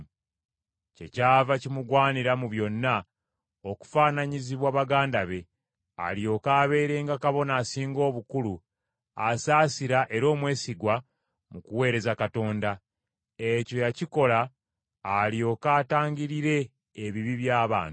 Kyekyava kimugwanira mu byonna okufaananyizibwa baganda be, alyoke abeerenga Kabona Asinga Obukulu asaasira era omwesigwa mu kuweereza Katonda. Ekyo yakikola alyoke atangirire ebibi by’abantu.